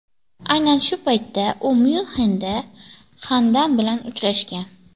Aynan shu paytda u Myunxenda Xandan bilan uchrashgan.